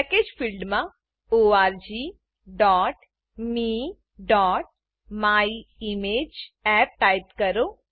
package package ફિલ્ડમાં orgmeમાયિમેજઅપ type કરો